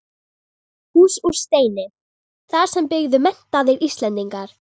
Hús úr steini, þar sem byggju menntaðir Íslendingar.